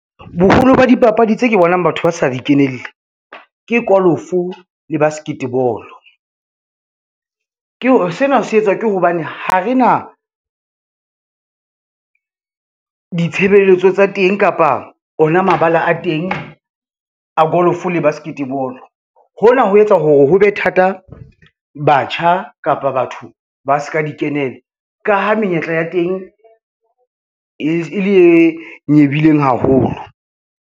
Boholo ba dipapadi tse ke bonang batho ba sa di kenelle, ke kolofo le basket ball. Sena se etswa ke hobane ha re na, ditshebeletso tsa teng kapa ona mabala a teng a golofo le basket ball. Hona ho etsa hore ho be thata batjha kapa batho ba ska di kenela, ka ha menyetla ya teng e le e nyebileng haholo.